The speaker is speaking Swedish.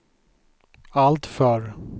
alltför